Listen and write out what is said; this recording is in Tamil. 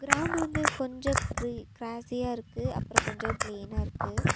கிரவுண்ட் வந்து கொஞ்சோ க்ரி கிராஸியா இருக்கு அப்றோ கொஞ்சோ ப்ளைனா இருக்கு.